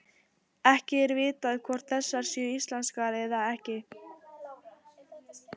Ekki er vitað hvort þessar séu íslenskar eða ekki.